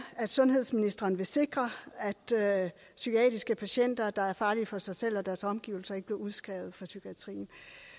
sundhedsministeren vil sikre at psykiatriske patienter der er farlige for sig selv og deres omgivelser ikke bliver udskrevet fra psykiatrien